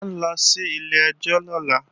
À ń lọ sí ilé-ẹjọ́ lọ́la